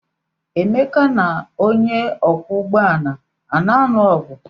Emeka na onye ọkwọ ụgbọala a na-alụ ọgụ?